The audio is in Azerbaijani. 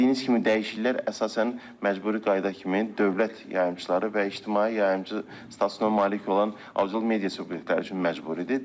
Bildiyiniz kimi dəyişikliklər əsasən məcburi qayda kimi dövlət yayımçıları və ictimai yayımçı statusuna malik olan audiovizual media subyektləri üçün məcburidir.